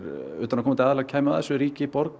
utanaðkomandi aðilar kæmu að þessu ríki borg